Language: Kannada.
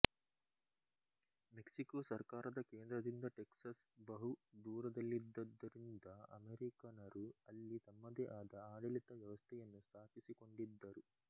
ಮೆಕ್ಸಿಕೋ ಸರ್ಕಾರದ ಕೇಂದ್ರದಿಂದ ಟೆಕ್ಸಸ್ ಬಹು ದೂರದಲ್ಲಿದ್ದದ್ದರಿಂದ ಅಮೆರಿಕನರು ಅಲ್ಲಿ ತಮ್ಮದೇ ಆದ ಆಡಳಿತ ವ್ಯವಸ್ಥೆಯನ್ನು ಸ್ಥಾಪಿಸಿಕೊಂಡಿದ್ದರು